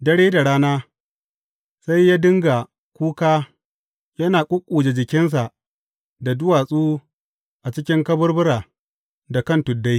Dare da rana, sai yă dinga kuka yana ƙuƙƙuje jikinsa da duwatsu a cikin kaburbura da kan tuddai.